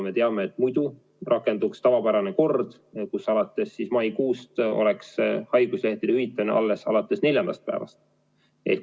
Me teame, et muidu rakenduks tavapärane kord, kus alates maikuust oleks haiguslehtede hüvitamine alles alates neljandast päevast.